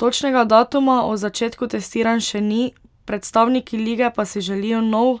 Točnega datuma o začetku testiranj še ni, predstavniki lige pa si želijo nov